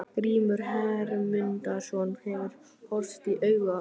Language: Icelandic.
Grímur Hermundsson hefur horfst í augu við galdranorn.